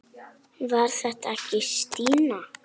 Var þetta ekki Stína?